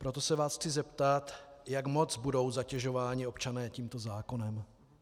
Proto se vás chci zeptat, jak moc budou zatěžováni občané tímto zákonem.